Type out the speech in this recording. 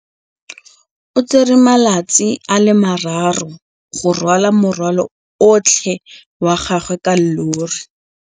O tsere malatsi a le marraro go rwala morwalo otlhe wa gagwe ka llori.